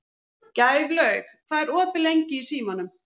Gæflaug, hvað er opið lengi í Símanum?